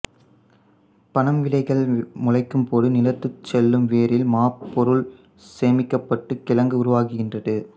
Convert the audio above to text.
பனம் விதைகள் முளைக்கும்போது நிலத்துட் செல்லும் வேரில் மாப்பொருள் சேமிக்கப்பட்டுக் கிழங்கு உருவாகின்றது